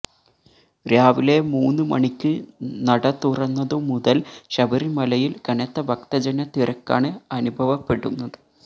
രാവിലെ മൂന്ന് മണിക്ക് നട തുറന്നതു മുതല് ശബരിമലയില് കനത്ത ഭക്തജന തിരക്കാണ് അനുഭവപ്പെടുന്നത്